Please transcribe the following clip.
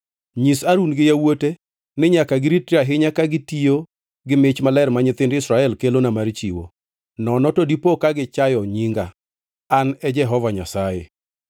Nyis Harun gi yawuote ni nyaka giritre ahinya ka gitiyo gi mich maler ma nyithind Israel kelona mar chiwo, nono to dipo ka gichayo nyinga. An e Jehova Nyasaye.